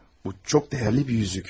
Bu çox dəyərli bir üzük.